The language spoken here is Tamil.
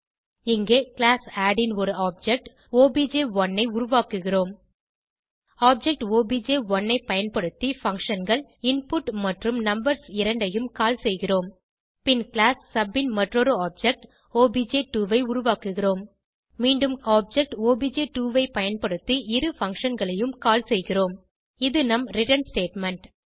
இங்கே கிளாஸ் ஆட் ன் ஒரு ஆப்ஜெக்ட் ஒப்ஜ்1 ஐ உருவாக்குகிறோம் ஆப்ஜெக்ட் ஒப்ஜ்1 ஐ பயன்படுத்தி functionகள் இன்புட் மற்றும் நம்பர்ஸ் இரண்டையும் கால் செய்கிறோம் பின் கிளாஸ் சப் ன் மற்றொரு ஆப்ஜெக்ட் ஒப்ஜ்2 ஐ உருவாக்குகிறோம் மீண்டும் ஆப்ஜெக்ட் ஒப்ஜ்2 ஐ பயன்படுத்தி இரு functionகளையும் கால் செய்கிறோம் இது நம் ரிட்டர்ன் ஸ்டேட்மெண்ட்